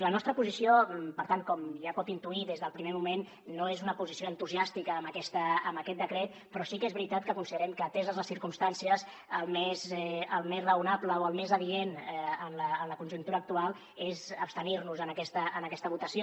la nostra posició per tant com ja pot intuir des del primer moment no és una posició entusiàstica amb aquest decret però sí que és veritat que considerem que ateses les circumstàncies el més raonable o el més adient en la conjuntura actual és abstenir nos en aquesta votació